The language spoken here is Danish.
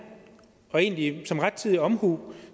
og egentlig som rettidig omhu